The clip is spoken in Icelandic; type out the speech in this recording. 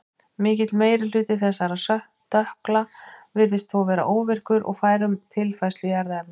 Mikill meiri hluti þessara stökkla virðist þó vera óvirkur og ófær um tilfærslu í erfðaefninu.